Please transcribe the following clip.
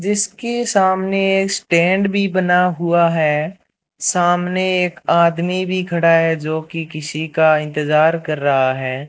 जिसके सामने एक स्टैंड भी बना हुआ है सामने एक आदमी भी खड़ा है जो की किसी का इंतजार कर रहा है।